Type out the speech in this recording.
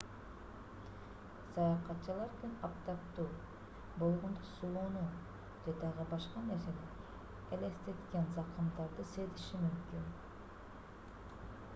саякатчылар күн аптаптуу болгондо сууну же дагы башка нерсени элестеткен закымдарды сезиши мүмкүн